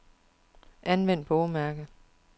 Anvend bogmærker.